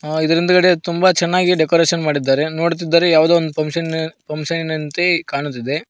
ಇದರ ಹಿಂದ್ಗಡೆ ತುಂಬ ಚೆನ್ನಾಗಿ ಡೆಕೋರೇಷನ್ ಮಾಡಿದ್ದಾರೆ ನೋಡುತ್ತಿದ್ದರೆ ಯಾವುದೋ ಒಂದು ಫಂಕ್ಷನ್ ಫಂಕ್ಷನಿನಂತೆ ಕಾಣುತ್ತಿದೆ.